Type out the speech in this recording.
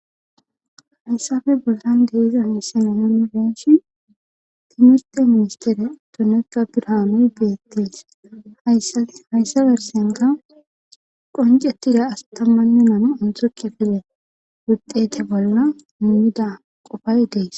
hayssafe bollan diza issanenon benshi timurte ministere dunekka birhaanoy beettees ahayssa bersenka qoncetida astamannu namu antoki file wudete bolla mumida qofay dees